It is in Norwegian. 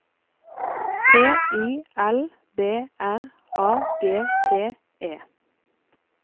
T I L B R A G T E